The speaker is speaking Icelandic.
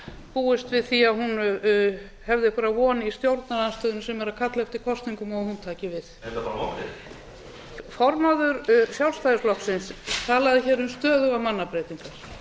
búist við því að hún hefði einhverja von í stjórnarandstöðunni sem er að kalla eftir kosningum og hún taki við eru þetta bara vonbrigði formaður sjálfstæðisflokksins talaði hér um stöðugar mannabreytingar